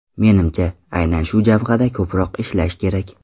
Menimcha, ayni shu jabhada ko‘proq ishlash kerak.